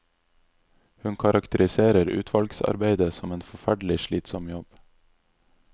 Hun karakteriserer utvalgsarbeidet som en forferdelig slitsom jobb.